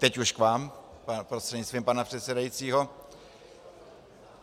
Teď už k vám prostřednictvím pana předsedajícího.